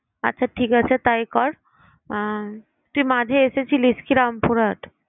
আচ্ছা ঠিক আছে তাই কর উম তুই মাঝে এসেছিলিস কি রামপুরহাট?